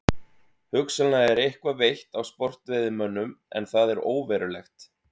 Hugsanlega er eitthvað veitt af sportveiðimönnum en það er óverulegt.